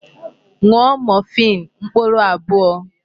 Ṅụọ morphine mkpụrụ abụọ!